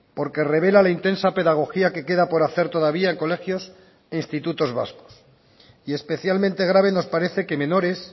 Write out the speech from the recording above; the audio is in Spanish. porque revela la intensa pedagogía que queda por hacer todavía en colegios e institutos vascos y especialmente grave nos parece que menores